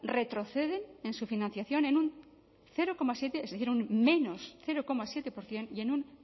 retroceden en su financiación en un cero coma siete por ciento y en un